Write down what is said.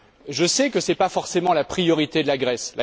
Je sais que ce n'est pas forcément la priorité de la Grèce.